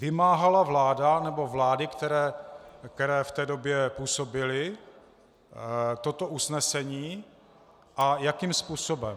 Vymáhala vláda nebo vlády, které v té době působily, toto usnesení a jakým způsobem?